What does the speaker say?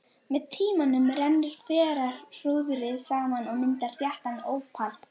Með tímanum rennur hverahrúðrið saman og myndar þéttan ópal.